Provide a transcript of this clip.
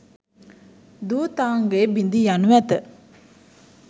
ධූතාංගය බිඳී යනු ඇත.